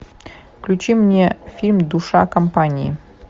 включи мне фильм душа компании